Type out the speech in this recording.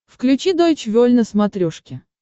включи дойч вель на смотрешке